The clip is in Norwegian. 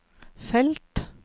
felt